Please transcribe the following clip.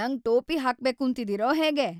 ನಂಗ್ ಟೋಪಿ ಹಾಕ್ಬೇಕೂಂತಿದೀರೋ ಹೇಗೆ?